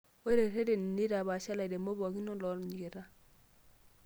Ore ireteni neitapaasha ilairemok pooki oloonyikita.